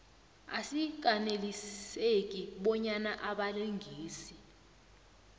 asikaneliseki bonyana abalingani